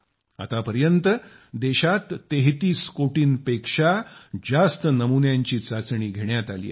आतापर्यंत देशात 33 कोटींपेक्षा जास्त नमुन्यांची चाचणी घेण्यात आली आहे